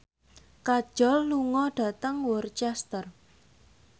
Kajol lunga dhateng Worcester